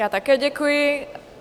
Já také děkuji.